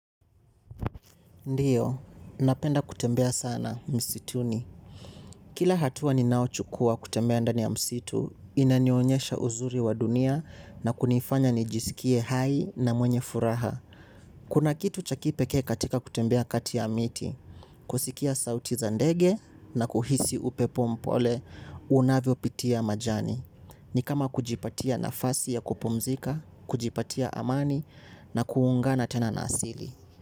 Ndiyo, napenda kutembea sana msituni. Kila hatua ninaochukua kutembea ndani ya msitu inanionyesha uzuri wa dunia na kunifanya nijiskie hai ma mwenye furaha kuma kitu cha kipekee katika kutembea kati ya miti kusikia sauti za ndege na kuhisi upepo mpole unavyopitia majani ni kama kujipatia nafasi ya kupumzika kujipatia amani na ku ungana tena ma asilo.